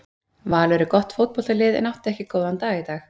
Valur er gott fótboltalið en átti ekki góðan dag í dag.